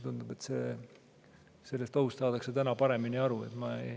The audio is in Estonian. Tundub, et sellest ohust saadakse täna paremini aru.